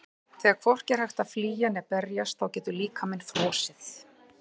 Þegar hvorki er hægt að flýja né berjast þá getur líkaminn frosið.